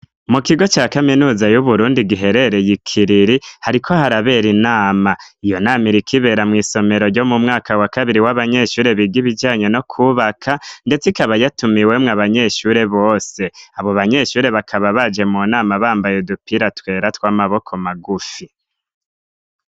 Mu kigo ca kaminuza y'uburundi giherereye ikiriri hariko harabera inama iyo nami rikibera mw'isomero ryo mu mwaka wa kabiri w'abanyeshure biga ibijanye no kwubaka, ndetse ikaba yatuma i wemwo abanyeshure bose abo banyeshure bakaba baje mu nama bambaye dupira twera tw'amaboko magufi.